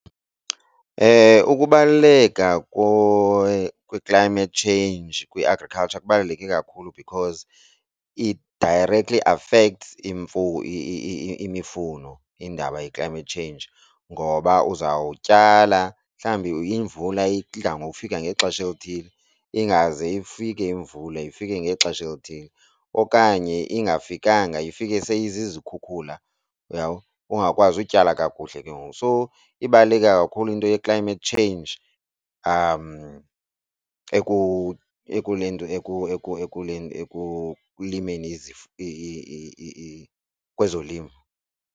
Ukubaluleka kwe-climate change kwi-agriculture kubaluleke kakhulu because it directly affects imfuyo, imifuno indaba ye-climate change ngoba uzawutyala mhlawumbi imvula idla ngokufika ngexesha elithile, ingaze ifike imvula ifike ngexesha elithile. Okanye ingafikanga ifike seyizizkhukhula uyabo, ungakwazi utyala kakuhle ke ngoku. So ibaluleke kakhulu into ye-climate change ekulimeni kwezolimo.